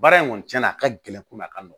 Baara in kɔni cɛn na a ka gɛlɛn ko n'a ka nɔgɔn